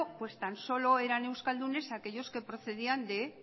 tan solo eran euskaldunes aquellos que procedían de